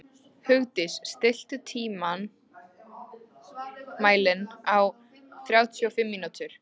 Hugdís, stilltu tímamælinn á þrjátíu og fimm mínútur.